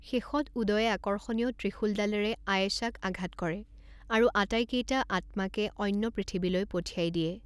শেষত উদয়ে আকৰ্ষণীয় ত্ৰিশূলডালেৰে আয়েশাক আঘাত কৰে আৰু আটাইকেইটা আত্মাকে অন্য পৃথিৱীলৈ পঠিয়াই দিয়ে।